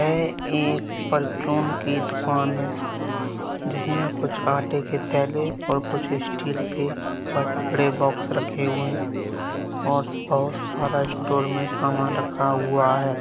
यह एक परचून की दुकान है जिसमे कुछ आटे के ठेले और कुछ स्टील के बड़े-बड़े बॉक्स रखे हुए हैं और बहुत सारा स्टोर में समान रखा हुआ है।